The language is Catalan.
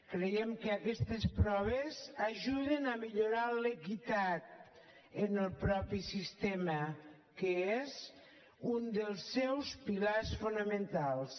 creiem que aquestes proves ajuden a millorar l’equitat en el mateix sistema que és un dels seus pilars fonamentals